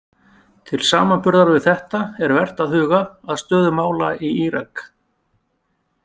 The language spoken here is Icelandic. Til samanburðar við þetta er vert að huga að stöðu mála í Írak.